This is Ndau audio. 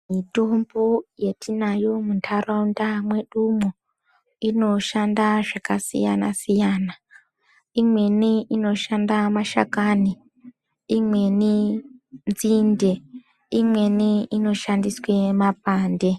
Mitombo yetinayo muntaraunda mwedumwo inoshanda zvakasiyana-siyana. Imweni inoshanda mashakani, imweni nzinde. Imweni inoshandiswe mapande.